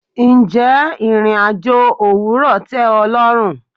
Ǹjẹ́ ìrìn-àjò òwúrò tẹ o lọ́run?